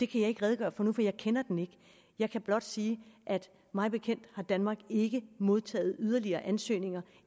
kan jeg ikke redegøre for nu for jeg kender den ikke jeg kan blot sige at mig bekendt har danmark ikke modtaget yderligere ansøgninger